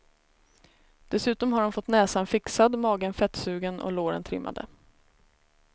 Dessutom har hon fått näsan fixad, magen fettsugen och låren trimmade.